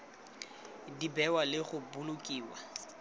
di bewa le go bolokiwa